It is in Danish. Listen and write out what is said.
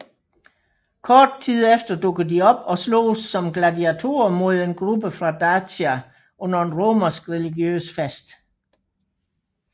Kort tid efter dukker de op og sloges som gladiatorer mod en gruppe fra Dacia under en romersk religiøs fest